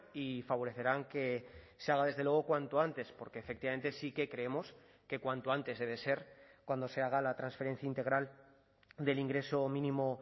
y favorecerán que se haga desde luego cuanto antes porque efectivamente sí que creemos que cuanto antes debe ser cuando se haga la transferencia integral del ingreso mínimo